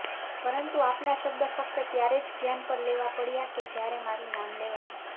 પરંતુ આપના શબ્દો ફક્ત ત્યારે જ ધ્યાન પર લેવા પડ્યા કે જ્યારે મારુ નામ લેવાયુ